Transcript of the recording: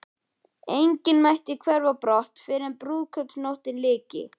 Enginn mætti hverfa á brott fyrren brúðkaupsnóttinni lyki.